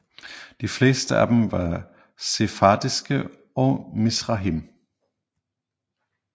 De fleste af dem var sefardiske og Mizrahim